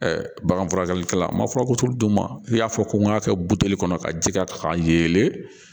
bagan furakɛlikɛla ma furabulu d'u ma i y'a fɔ ko n ka kɛ buteli kɔnɔ ka ji k'a kan ka yelen